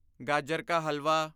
ਗਾਜਰ ਕਾ ਹਲਵਾ